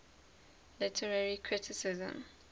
literary criticism